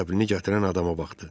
Qəzəblini gətirən adama baxdı.